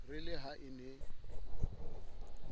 re le ha e ne